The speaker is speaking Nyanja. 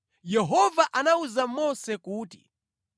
Yehova anawuza Mose kuti,